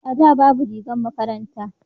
a da babu rigar makaranta